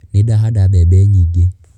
Nĩ ndahanda mbembe nyingĩ.